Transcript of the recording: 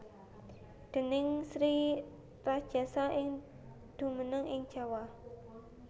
Déning Sri Rajasa sing jumeneng ing Jawa